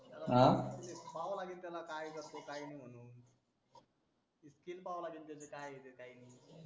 हा पाहावा लागेल त्याला काय करतो काय काय नाही म्हणून skill पावा लागेल त्याची काय येते काय नाही म्हणून